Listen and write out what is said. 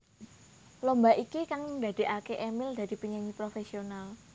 Lomba iki kang ndadekaké Emil dadi penyanyi profesional